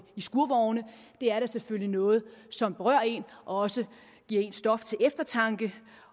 skurvogne det er da selvfølgelig noget som berører en og også giver en stof til eftertanke